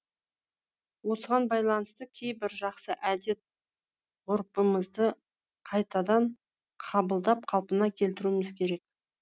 осыған байланысты кейбір жақсы әдет ғұрпымызды қайтадан қабылдап қалпына келтіруіміз керек